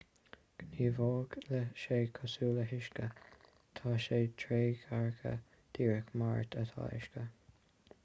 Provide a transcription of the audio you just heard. gníomhóidh sé cosúil le huisce tá sé trédhearcach díreach mar atá uisce